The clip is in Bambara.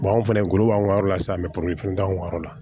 anw fɛnɛ golo b'an ka yɔrɔ la sisan an bɛ la